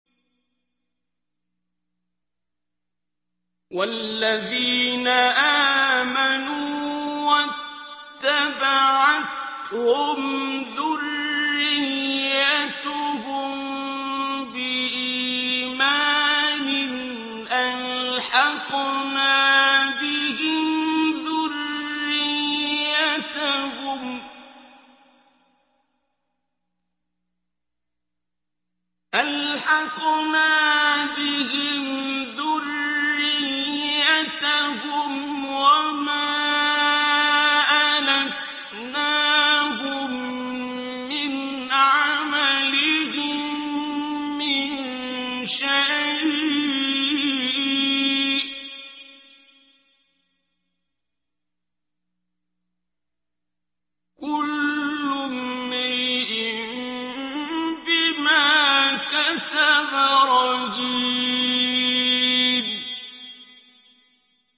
وَالَّذِينَ آمَنُوا وَاتَّبَعَتْهُمْ ذُرِّيَّتُهُم بِإِيمَانٍ أَلْحَقْنَا بِهِمْ ذُرِّيَّتَهُمْ وَمَا أَلَتْنَاهُم مِّنْ عَمَلِهِم مِّن شَيْءٍ ۚ كُلُّ امْرِئٍ بِمَا كَسَبَ رَهِينٌ